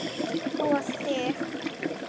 Og þig.